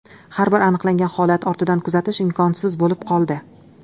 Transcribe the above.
Har bir aniqlangan holat ortidan kuzatish imkonsiz bo‘lib qoldi.